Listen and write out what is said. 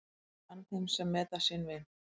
Ég ann þeim sem meta sinn vin.